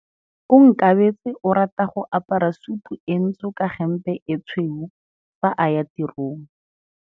Onkabetse o rata go apara sutu e ntsho ka hempe e tshweu fa a ya tirong.